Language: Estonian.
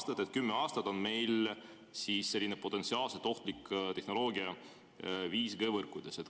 See tähendab, et kümme aastat on meil siis 5G‑võrkudes potentsiaalselt ohtlik tehnoloogia.